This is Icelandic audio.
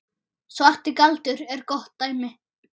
Svarti galdur er gott dæmi.